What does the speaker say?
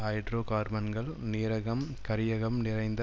ஹைட்ரோகார்பன்கள் நீரகம் கரியகம் நிறைந்த